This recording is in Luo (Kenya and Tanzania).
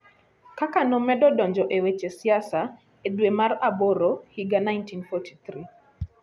Kaka nomedo donjo e weche siasa, e dwe mar aboro higa 1943,